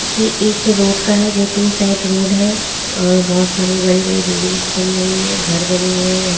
यह एक रोड का है जो टू साइड रोड है और बहुत सारी बड़ी-बड़ी बिल्डिंग्स बनी हुई हैं घर बने हुए हैं यहाँ --